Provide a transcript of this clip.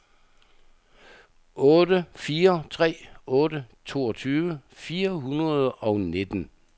otte fire tre otte toogtyve fire hundrede og nitten